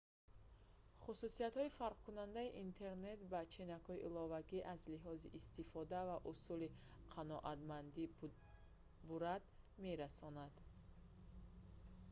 хусусиятҳои фарқкунандаи интернет ба ченакҳои иловагӣ аз лиҳози истифода ва усули қаноатмандӣ бурад мерасонанд